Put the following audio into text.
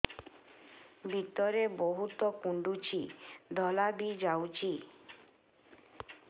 ଭିତରେ ବହୁତ କୁଣ୍ଡୁଚି ଧଳା ବି ଯାଉଛି